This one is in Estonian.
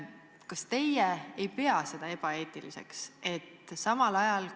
Kas teie ei pea seda praegu ebaeetiliseks?